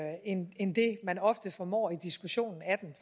end end det man ofte formår i diskussionen af den